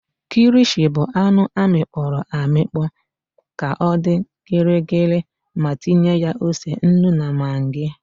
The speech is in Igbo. KIlishi bụ anụ amịkpọrọ amịkpọ ka ọ dị gịrịgịrị ma tinye ya ose, nnu na magị.